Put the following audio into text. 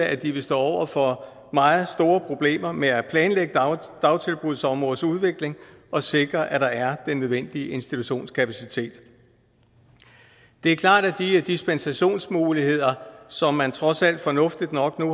at de vil stå over for meget store problemer med at planlægge dagtilbudsområdets udvikling og sikre at der er den nødvendige institutionskapacitet det er klart at de dispensationsmuligheder som man trods alt fornuftigt nok